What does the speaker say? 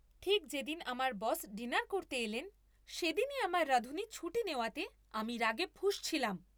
ঠিক যেদিন আমার বস ডিনার করতে এলেন সেদিনই আমার রাঁধুনি ছুটি নেওয়াতে আমি রাগে ফুঁসছিলাম।